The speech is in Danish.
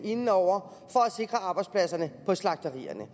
inde over for at sikre arbejdspladserne på slagterierne